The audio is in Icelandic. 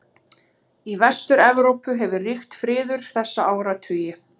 Í Vestur-Evrópu hefur ríkt friður þessa áratugi.